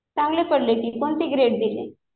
चांगले ग्रेड पडले कि. कोणती ग्रेड दिली?